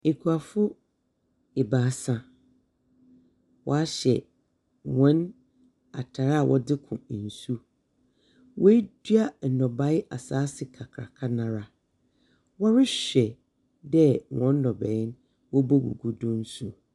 Akuafo ebaasa. Wɔahyɛ wɔn tar a wɔdze kɔ nsu. Wɔadua ndɔbea asase kakraka no ara. Wɔrehwɛ dɛ wɔn ndɔbea no wɔbogugu do nu.